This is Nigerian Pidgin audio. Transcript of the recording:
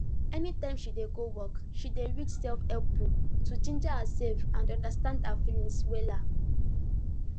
anytime she dey go work she dey read selfhelp book to ginger herself and understand her feelings wella